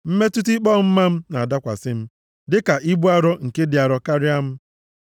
Mmetụta ikpe ọmụma m na-adakwasị m dịka ibu arọ nke dị arọ karịa m.